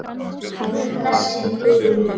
Guð blessi þig, Guðrún mín.